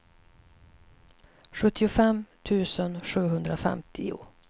sjuttiofem tusen sjuhundrafemtio